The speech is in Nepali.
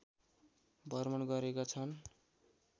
भ्रमण गरेका छन्